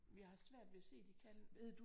Jeg har svært ved at se de kan